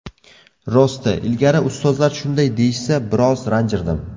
Rosti, ilgari ustozlar shunday deyishsa, biroz ranjirdim.